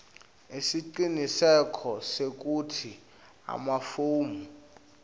siciniseko sekutsi emafomu